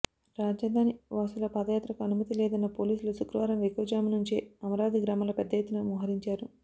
రాజధానివాసుల పాదయాత్రకు అనుమతి లేదన్న పోలీసులు శుక్రవారం వేకువజాము నుంచే అమరావతి గ్రామాల్లో పెద్దఎత్తున మోహరించారు